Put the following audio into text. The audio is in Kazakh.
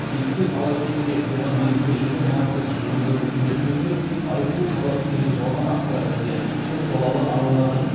еске сала кетсек бұған дейін көшеде маскасыз жүргендерді суретке түсіріп айыппұл салады деген жалған ақпарат және көпбалалы аналардың